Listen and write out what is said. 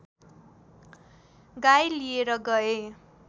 गाई लिएर गए